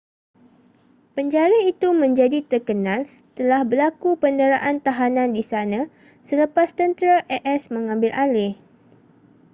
penjara itu menjadi terkenal setelah berlaku penderaan tahanan di sana selepas tentera as mengambil alih